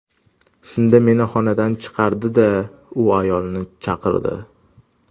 Shunda meni xonadan chiqardi-da, u ayolni chaqirdi.